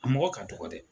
A mɔgɔ ka dɔgɔ dɛ